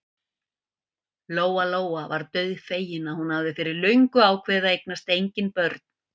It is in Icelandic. Lóa-Lóa var dauðfegin að hún hafði fyrir löngu ákveðið að eignast engin börn.